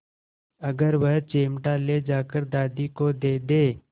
अगर वह चिमटा ले जाकर दादी को दे दे